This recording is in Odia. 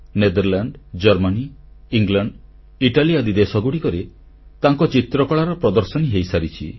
ନେଦରଲାଣ୍ଡ ଜର୍ମାନୀ ଇଂଲଣ୍ଡ ଇଟାଲୀ ଆଦି ଦେଶଗୁଡ଼ିକରେ ତାଙ୍କ ଚିତ୍ରକଳାର ପ୍ରଦର୍ଶନୀ ହୋଇସାରିଛି